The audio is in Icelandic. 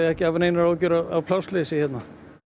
ekki að hafa neinar áhyggjur af plássleysi hérna